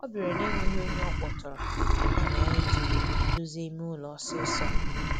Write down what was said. Ọ bịara na'enweghị ọnye ọkpọtụrụ, ya mere anyị jiri dozie ime ụlọ ọsịsọ.